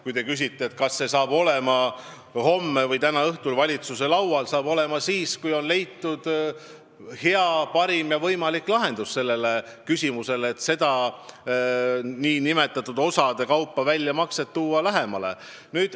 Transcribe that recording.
Kui te küsite, kas see saab olema homme või täna õhtul valitsuse laual, siis vastan, et saab olema siis, kui on leitud parim võimalik lahendus sellele küsimusele, kui saab seda raha maksma hakata osade kaupa.